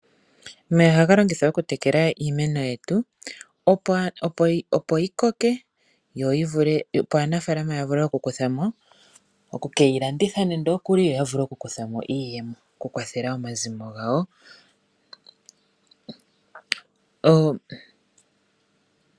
Omeya ohaga longithwa okutekela iimeno yetu, opo yi koke yo aanafalama ya vule oku ke yi landitha, yo ya vule okukutha mo iiyemo yokukwathela omazimo gawo.